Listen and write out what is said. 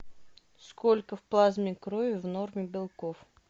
сколько в плазме крови в норме белков